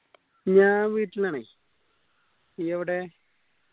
ഞാൻ വീട്ടിലാണ് നീ എവടെ